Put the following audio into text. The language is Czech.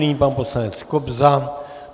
Nyní pan poslanec Kobza.